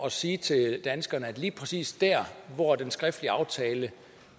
at sige til danskerne at lige præcis der hvor den skriftlige aftale